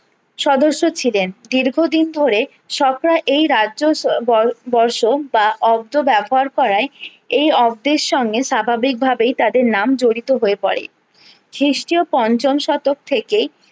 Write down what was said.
সদস্য ছিলেন দীর্ঘদিন ধরে এই রাজ্য বর্ষ বা অস্ত্র ব্যবহার করাই এই অব্দের সঙ্গে স্বাভাবিক ভাবেই তাদের নাম জড়িত হয়ে পরে খ্রিস্টীয় পঞ্চম শতক থেকেই